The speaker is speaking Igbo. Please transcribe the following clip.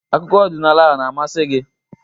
Akụkọ ọdịnala na-amasị gị?